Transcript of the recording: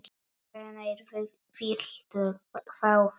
Hvenær viltu fá þau?